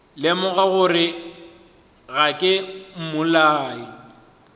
lemoga gore ga ke mmolai